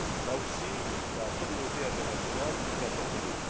Là aussi, la communauté internationale est interpellée.